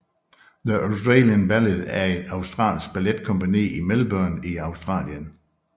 The Australian Ballet er et australsk balletkompagni i Melbourne i Australien